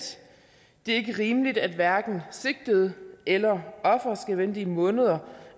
det er ikke rimeligt at hverken sigtede eller offer skal vente i måneder